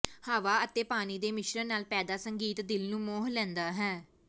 ਹਵਾ ਅਤੇ ਪਾਣੀ ਦੇ ਮਿਸ਼ਰਣ ਨਾਲ ਪੈਦਾ ਸੰਗੀਤ ਦਿਲ ਨੂੰ ਮੋਹ ਲੈਂਦਾ ਹੈ